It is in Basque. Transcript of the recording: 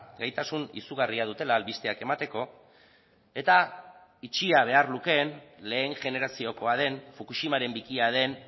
gaitasun izugarria dutela albisteak emateko eta itxia behar lukeen lehen generaziokoa den fukushimaren bikia den